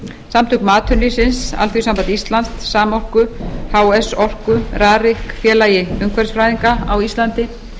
samtökum atvinnulífsins alþýðusambandi íslands samorku h s orku rarik félagi umhverfisfræðinga á íslandi